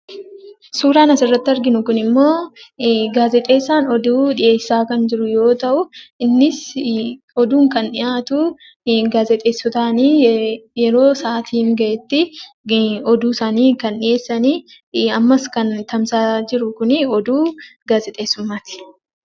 Suuraan asirratti arginu kunimmoo gaazexeessaan oduu dhiyeessaa kan jiru yoo ta'u, innis oduun kan dhiyaatu, gaazexeessitootaani. Yeroo sa'aatiin gahetti oduu isaanii kan dhiyeessani, ammas kan tamsa'aa jiru kunii oduu gaazexeessummaati.